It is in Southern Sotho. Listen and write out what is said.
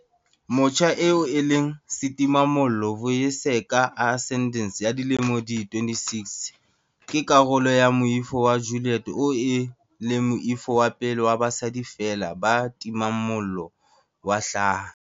Motjha eo e leng setimamollo, Vuyiseka Arendse ya dilemo di 26, ke karolo ya Moifo wa Ju-liet oo e leng moifo wa pele wa basadi feela ba timang mollo wa hlaha.